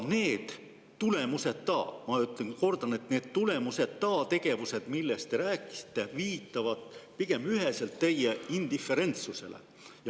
Need tulemuseta, ma kordan, tulemuseta tegevused, millest te rääkisite, viitavad pigem üheselt teie indiferentsusele.